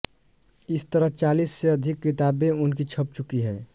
इस तरह चालीस से अधिक किताबें उनकी छप चुकी हैं